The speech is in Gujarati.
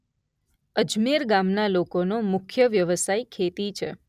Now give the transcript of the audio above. અજમેર ગામના લોકોનો મુખ્ય વ્યવસાય ખેતી છે.